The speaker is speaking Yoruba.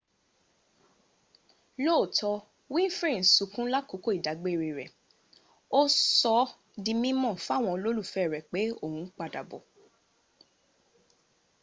lóòótọ́ winfrey ń sọkún lákòókò ìdágbére rẹ̀ ó sọ s´ di mímọ̀ fáwọn olólùfẹ́ rẹ̀ pé òun padà bọ̀